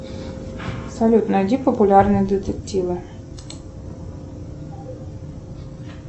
салют найди популярные детективы